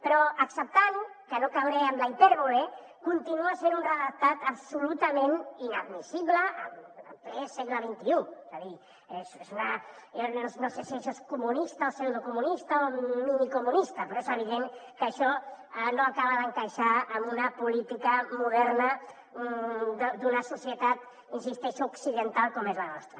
però acceptant que no cauré en la hipèrbole continua sent un redactat absolutament inadmissible en ple segle xxidocomunista o minicomunista però és evident que això no acaba d’encaixar en una política moderna d’una societat hi insisteixo occidental com és la nostra